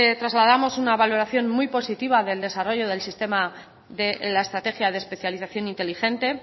trasladamos una valoración muy positiva del desarrollo del sistema de la estrategia de especialización inteligente